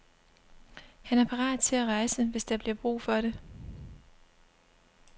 Han er parat til at rejse, hvis der bliver brug for det.